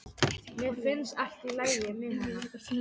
Mér finnst allt í lagi með hann.